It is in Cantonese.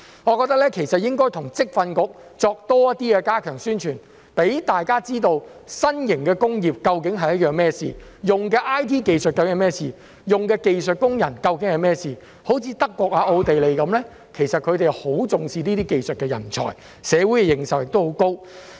我認為應該與職業訓練局加強宣傳，讓大家知道新型的工業究竟是甚麼一回事、使用的 IT 技術究竟是甚麼一回事、使用的技術工人究竟是甚麼一回事，有如德國、奧地利般，他們很重視技術人才，社會對此的認受亦很高。